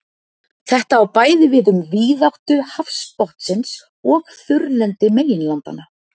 Þetta á bæði við um víðáttu hafsbotnsins og þurrlendi meginlandanna.